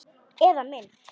Eða mynd.